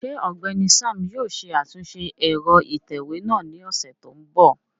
Ṣe Ọgbẹni Sam yóò ṣe atunṣe ẹrọ itẹwe náa ni ọsẹ to nbọ?